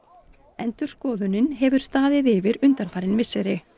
endurskoðunin hefur staðið yfir undanfarin misseri